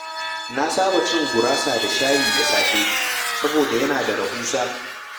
Na saba cin gurasa da shayi da safe saboda yana da rahusa.